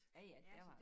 Ja ja der var